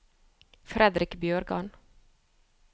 Fredrick Bjørgan